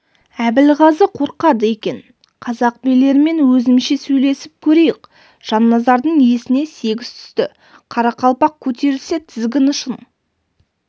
әбілғазы қорқады екен қазақ билерімен өзімізше сөйлесіп көрейік жанназардың есіне сегіз түсті қарақалпақ көтерілсе тізгін ұшын